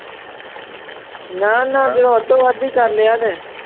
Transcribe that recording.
ਨਾ ਨਾ ਜੇ ਅੱਧੋ ਅੱਧ ਹੀ ਕਰ ਲਿਆ ਤੇ